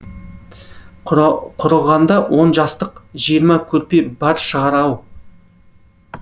құрығанда он жастық жиырма көрпе бар шығар ау